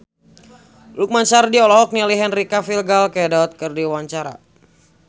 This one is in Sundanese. Lukman Sardi olohok ningali Henry Cavill Gal Gadot keur diwawancara